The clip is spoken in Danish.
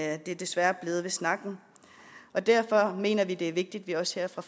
er desværre blevet ved snakken og derfor mener vi at det er vigtigt at vi også her fra